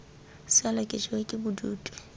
sala ke jewa ke bodutu